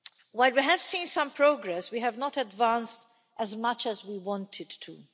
While we have seen some progress, we have not advanced as much as we wanted to.